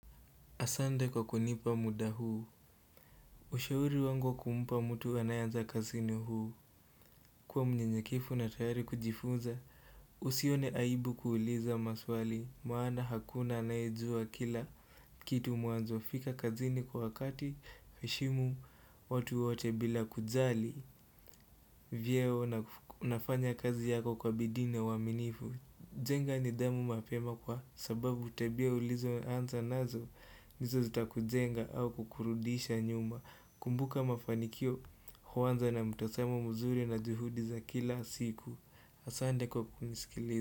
Asande kwa kunipa muda huu Ushauri wangu wa kumpa mtu anayeanza kazi ni huu kuwa mnyenyekefu na tayari kujifunza Usione aibu kuuliza maswali maana hakuna anayejua kila kitu mwanzo fika kazini kwa wakati heshimu watu wote bila kujali Vyeo unafanya kazi yako kwa bidii na uaminifu jenga nidhamu mapema kwa sababu tabia ulizo anza nazo Nizo zita kujenga au kukurudisha nyuma kumbuka mafanikio huanza na mtazamo muzuri na juhudi za kila siku Asante kwa kunisikiliza.